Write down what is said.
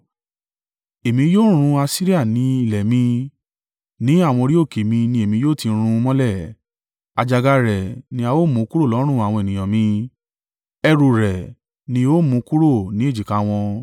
Èmi yóò run Asiria ní ilẹ̀ mi, ní àwọn orí òkè mi ni èmi yóò ti rún un mọ́lẹ̀. Àjàgà rẹ̀ ni a ó mú kúrò lọ́rùn àwọn ènìyàn mi, ẹrù u rẹ̀ ni ó mú kúrò ní èjìká wọn.”